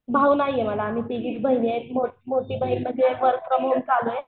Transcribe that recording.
भाऊ नाहीये मला आम्ही तिघीच बहिणी आहे मोठी बहीण म्हणजे चालू आहे.